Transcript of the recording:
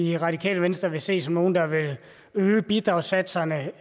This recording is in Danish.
i radikale venstre vil se som nogle der vil øge bidragssatserne